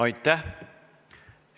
Aitäh!